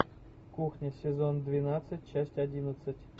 кухня сезон двенадцать часть одиннадцать